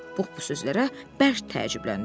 Pux bu sözlərə bərk təəccübləndi.